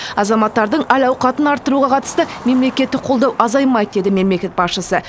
азаматтардың әл ауқатын арттыруға қатысты мемлекеттік қолдау азаймайды деді мемлекет басшысы